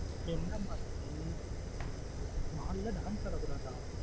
என்ன மா ஆச்சு mall ஆ dance அட கூடாத!